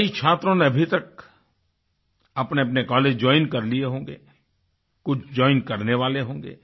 कई छात्रों ने अभी तक अपनेअपने कॉलेज जोइन कर लिए होंगे कुछ जोइन करने वाले होंगे